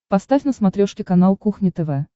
поставь на смотрешке канал кухня тв